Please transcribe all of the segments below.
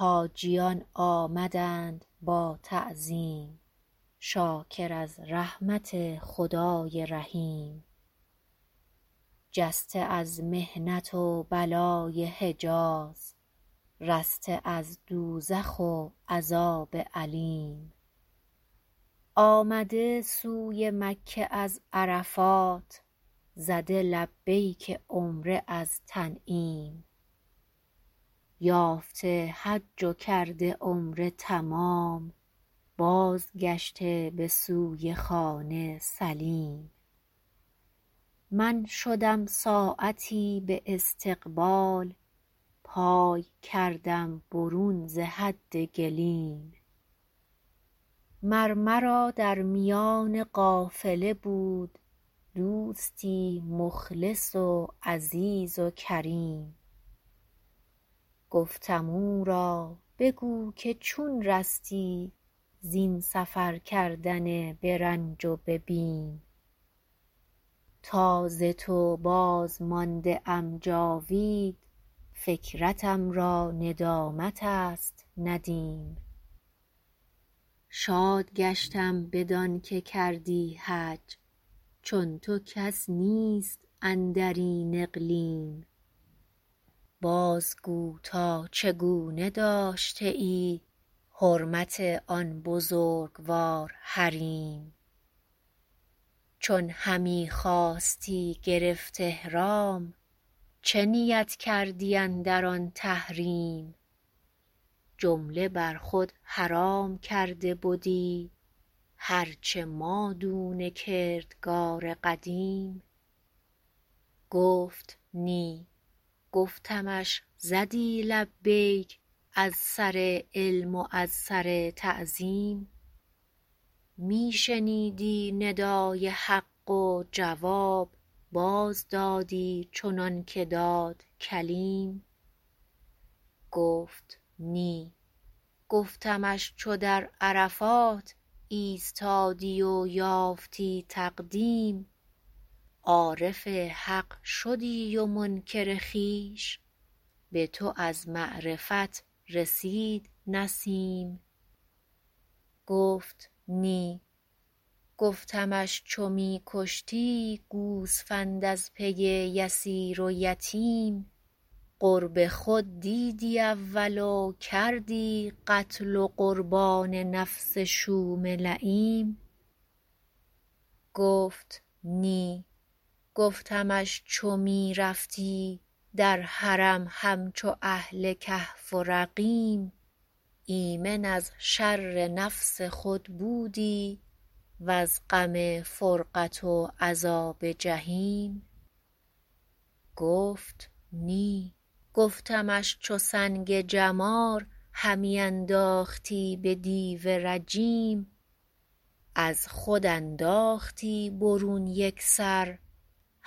حاجیان آمدند با تعظیم شاکر از رحمت خدای رحیم جسته از محنت و بلای حجاز رسته از دوزخ و عذاب الیم آمده سوی مکه از عرفات زده لبیک عمره از تنعیم یافته حج و کرده عمره تمام باز گشته به سوی خانه سلیم من شدم ساعتی به استقبال پای کردم برون ز حد گلیم مر مرا در میان قافله بود دوستی مخلص و عزیز و کریم گفتم او را بگو که چون رستی زین سفر کردن به رنج و به بیم تا ز تو باز مانده ام جاوید فکرتم را ندامت است ندیم شاد گشتم بدانکه کردی حج چون تو کس نیست اندر این اقلیم باز گو تا چگونه داشته ای حرمت آن بزرگوار حریم چون همی خواستی گرفت احرام چه نیت کردی اندر آن تحریم جمله برخود حرام کرده بدی هرچه مادون کردگار قدیم گفت نی گفتمش زدی لبیک از سر علم و از سر تعظیم می شنیدی ندای حق و جواب باز دادی چنانکه داد کلیم گفت نی گفتمش چو در عرفات ایستادی و یافتی تقدیم عارف حق شدی و منکر خویش به تو از معرفت رسید نسیم گفت نی گفتمش چون می کشتی گوسفند از پی یسیر و یتیم قرب خود دیدی اول و کردی قتل و قربان نفس شوم لییم گفت نی گفتمش چو می رفتی در حرم همچو اهل کهف و رقیم ایمن از شر نفس خود بودی وز غم فرقت و عذاب جحیم گفت نی گفتمش چو سنگ جمار همی انداختی به دیو رجیم از خود انداختی برون یکسر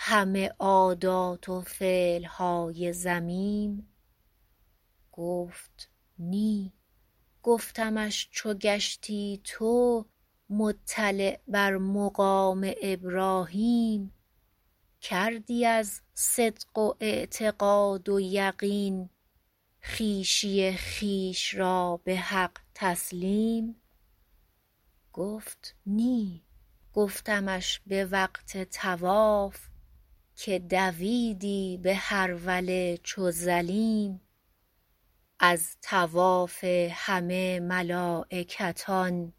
همه عادات و فعلهای ذمیم گفت نی گفتمش چو گشتی تو مطلع بر مقام ابراهیم کردی از صدق و اعتقاد و یقین خویشی خویش را به حق تسلیم گفت نی گفتمش به وقت طواف که دویدی به هروله چو ظلیم از طواف همه ملایکتان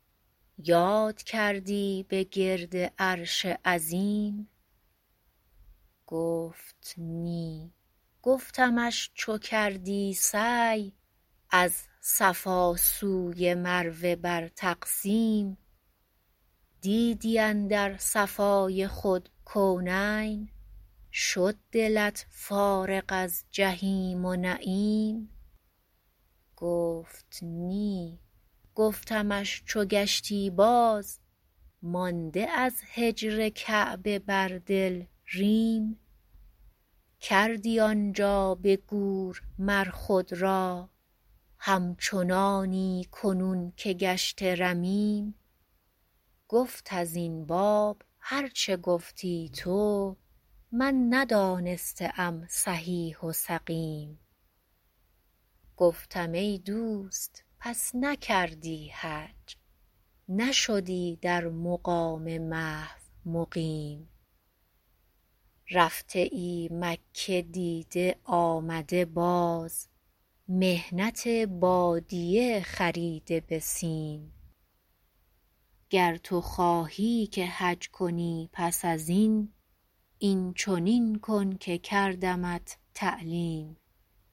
یاد کردی به گرد عرش عظیم گفت نیگفتمش چو کردی سعی از صفا سوی مروه بر تقسیم دیدی اندر صفای خود کونین شد دلت فارغ از جحیم و نعیم گفت نی گفتمش چو گشتی باز مانده از هجر کعبه بر دل ریم کردی آنجا به گور مر خود را همچنانی کنون که گشته رمیم گفت از این باب هر چه گفتی تو من ندانسته ام صحیح و سقیم گفتم ای دوست پس نکردی حج نشدی در مقام محو مقیم رفته ای مکه دیده آمده باز محنت بادیه خریده به سیم گر تو خواهی که حج کنی پس از این این چنین کن که کردمت تعلیم